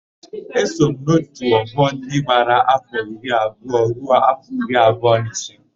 Eso m n'òtù ọgbọ ndị gbara áfọ̀ iri abụọ ruo áfọ̀ iri abụọ na ise.